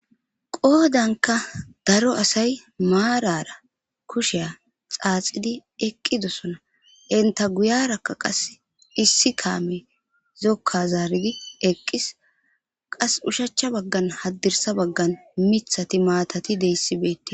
qoodanka daro asay maarara kusheya xaaxidi eqqidosona enta guyarakka qas issi kaame zokka zaargi eqqis qas ushachcha baggan haddirsa baggan mithati maatati deyssibette